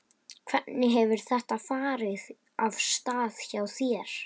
Hvernig hefur þetta farið af stað hjá þér?